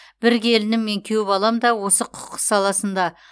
бір келінім мен күйеу балам да осы құқық саласында